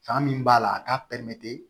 Fan min b'a la a k'a